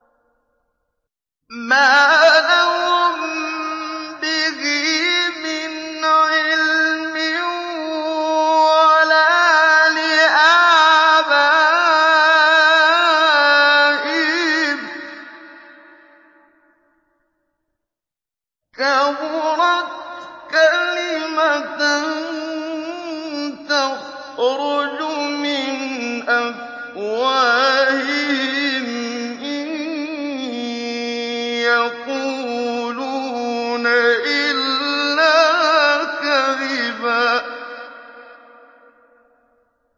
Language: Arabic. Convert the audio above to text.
مَّا لَهُم بِهِ مِنْ عِلْمٍ وَلَا لِآبَائِهِمْ ۚ كَبُرَتْ كَلِمَةً تَخْرُجُ مِنْ أَفْوَاهِهِمْ ۚ إِن يَقُولُونَ إِلَّا كَذِبًا